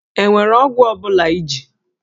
E nwere ọgwụ ọ bụla iji?